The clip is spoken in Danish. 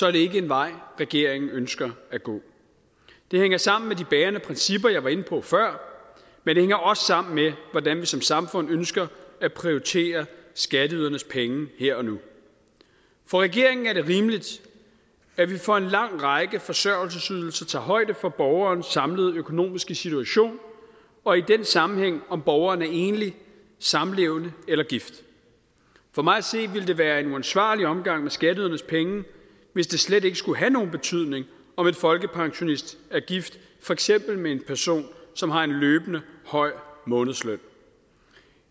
er det ikke en vej regeringen ønsker at gå det hænger sammen med de bærende principper jeg var inde på før men det hænger også sammen med hvordan vi som samfund ønsker at prioritere skatteydernes penge her og nu for regeringen er det rimeligt at vi for en lang række forsørgelsesydelser tager højde for borgerens samlede økonomiske situation og i den sammenhæng om borgeren er enlig samlevende eller gift for mig at se ville det være en uansvarlig omgang med skatteydernes penge hvis det slet ikke skulle have nogen betydning om en folkepensionist for eksempel med en person som har en løbende høj månedsløn